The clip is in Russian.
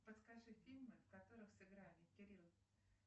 подскажи фильмы в которых сыграли кирилл